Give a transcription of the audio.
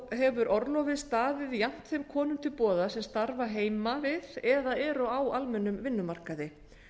hefur orlofið staðið jafnt þeim konum til boða sem starfa heima við eða eru á almennum vinnumarkaði